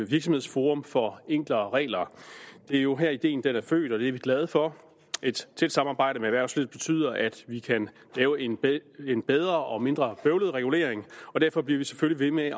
virksomhedsforum for enklere regler det er jo her ideen er født og det er vi glade for et tæt samarbejde med erhvervslivet betyder at vi kan lave en bedre og mindre bøvlet regulering og derfor bliver vi selvfølgelig ved